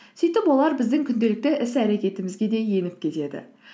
сөйтіп олар біздің күнделікті іс әрекетімізге де еніп кетеді